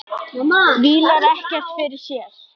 Vílar ekkert fyrir sér.